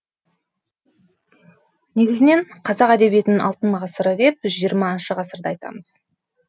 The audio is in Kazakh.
негізінен қазақ әдебиетінің алтын ғасыры деп жиырмасыншы ғасырды айтамыз